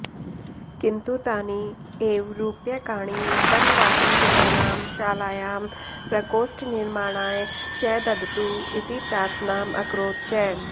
किन्तु तानि एव रूप्यकाणि वनवासिजनानां शालायां प्रकोष्ठनिर्माणाय च ददतु इति प्रार्थनाम् अकरोत् च